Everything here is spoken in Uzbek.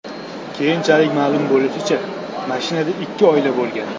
Keyinchalik ma’lum bo‘lishicha, mashinada ikki oila bo‘lgan.